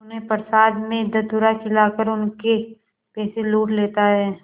उन्हें प्रसाद में धतूरा खिलाकर उनके पैसे लूट लेता है